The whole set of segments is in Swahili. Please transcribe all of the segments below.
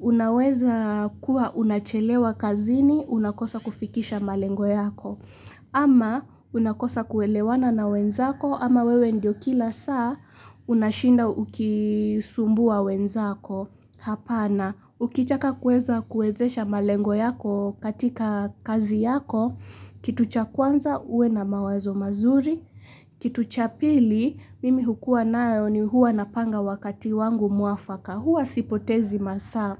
unaweza kuwa unachelewa kazini, unakosa kufikisha malengo yako. Ama unakosa kuelewana na wenzako, ama wewe ndio kila saa, unashinda ukisumbua wenzako. Hapana, ukitaka kuweza kuwezesha malengo yako katika kazi yako, kitu cha kwanza uwe na mawazo mazuri, kitu cha pili, mimi hukuwa nayo ni huwa napanga wakati wangu muafaka. Hua sipotezi masaa.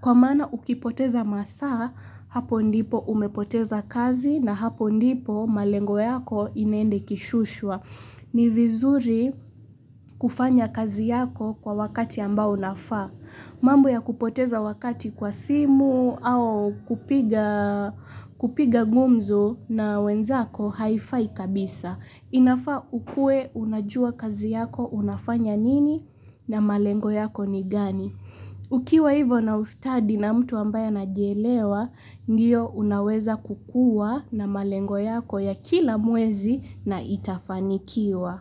Kwa maana ukipoteza masaa, hapo ndipo umepoteza kazi na hapo ndipo malengo yako inaenda ikishushwa. Ni vizuri kufanya kazi yako kwa wakati ambao unafaa. Mambo ya kupoteza wakati kwa simu au kupiga kupiga gumzo na wenzako haifai kabisa. Inafaa ukuwe unajua kazi yako unafanya nini na malengo yako ni gani. Ukiwa hivyo na ustadi na mtu ambaye anajielewa, ndiyo unaweza kukuwa na malengo yako ya kila mwezi na itafanikiwa.